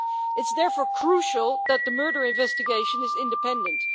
It's therefore crucial that the murder investigation is independent.